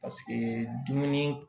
Paseke dumuni